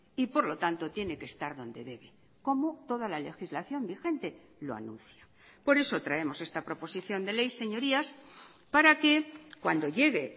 y por lo tanto tiene que estar donde debe como toda la legislación vigente lo anuncia por eso traemos esta proposición de ley señorías para que cuando llegue